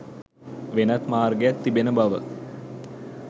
වෙනත් මාර්ගයක් තිබෙන බව